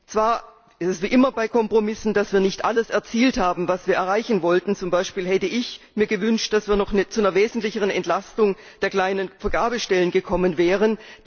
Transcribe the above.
Zwar ist es wie immer bei Kompromissen so, dass wir nicht alles erzielt haben, was wir erreichen wollten. Zum Beispiel hätte ich mir gewünscht, dass wir noch zu einer wesentlicheren Entlastung der kleinen Vergabestellen gekommen wären.